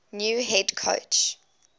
new head coach